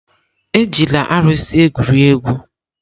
Ejila arụsị egwuri egwu!